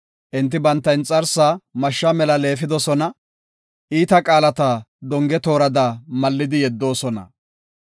Enti banta inxarsaa mashsha mela leefidosona; iita qaalata donge toorada mallidi yeddoosona.